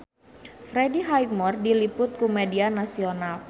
Freddie Highmore diliput ku media nasional